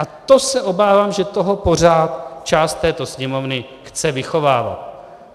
A to se obávám, že toho pořád část této Sněmovny chce vychovávat.